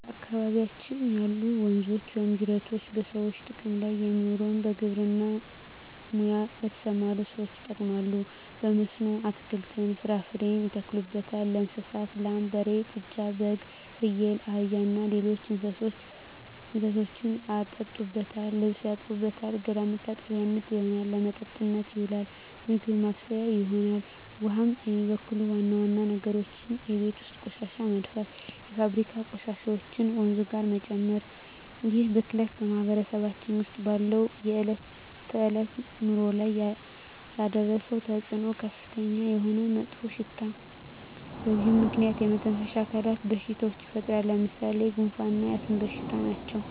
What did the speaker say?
በአካባቢያችን ያሉ ወንዞች ወይም ጅረቶች በሰዎች ጥቅም ላይ የሚውለው በግብርና ሙያ ለተሠማሩ ሠዎች ይጠቅማል። በመስኖ አትክልትን፣ ፍራፍሬ ያተክሉበታል። ለእንስሳት ላም፣ በሬ፣ ጥጃ፣ በግ፣ ፍየል፣ አህያ እና ሌሎች እንስሶችን ያጠጡበታል፣ ልብስ ይታጠብበታል፣ ገላ መታጠቢያነት ይሆናል። ለመጠጥነት ይውላል፣ ምግብ ማብሠያ ይሆናል። ውሃውን የሚበክሉ ዋና ዋና ነገሮች የቤት ውስጥ ቆሻሻ መድፋት፣ የፋብሪካ ቆሻሾችን ወንዙ ጋር መጨመር ይህ ብክለት በማህበረሰባችን ውስጥ ባለው የዕለት ተዕለት ኑሮ ላይ ያደረሰው ተፅዕኖ ከፍተኛ የሆነ መጥፎሽታ በዚህ ምክንያት የመተነፈሻ አካል በሽታዎች ይፈጠራሉ። ለምሣሌ፦ ጉንፋ እና የአስም በሽታ ናቸው።